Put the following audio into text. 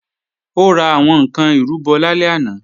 Ó ra àwọn ǹkan ìrúbọ lálẹ́ àná